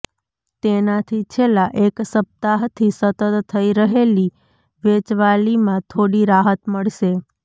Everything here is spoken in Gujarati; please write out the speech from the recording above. તેનાથી છેલ્લા એક સપ્તાહથી સતત થઈ રહેલી વેચવાલીમાં થોડી રાહત મળશે